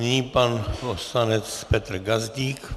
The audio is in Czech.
Nyní pan poslanec Petr Gazdík.